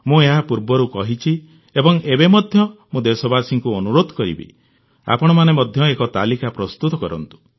ମୁଁ ଏହା ପୂର୍ବରୁ କହିଛି ଏବଂ ଏବେ ମଧ୍ୟ ମୁଁ ଦେଶବାସୀଙ୍କୁ ଅନୁରୋଧ କରିବି ଆପଣମାନେ ମଧ୍ୟ ଏକ ତାଲିକା ପ୍ରସ୍ତୁତ କରନ୍ତୁ